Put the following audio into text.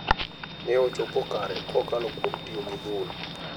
Ne ichopo kare kokalo kuom tiyo gi bul.